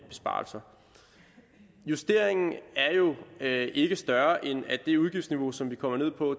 besparelser justeringen er jo ikke større end at det udgiftsniveau som vi kommer ned på